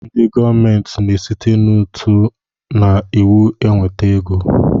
Ndị gọọmenti na-esite n'ụtụ na iwu enweta ego